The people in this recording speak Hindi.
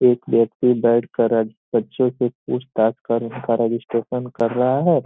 एक व्यक्ति बैठ कर अज बच्चों के पूछताछ कर का रजिस्ट्रेशन कर रहा है |